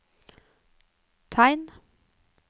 tegn